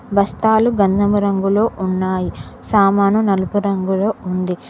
బస్తాలు గంధమురంగులో ఉన్నాయి సామాను నలుపు రంగులో ఉంది.